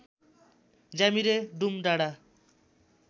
ज्यामिरे डुम डाँडा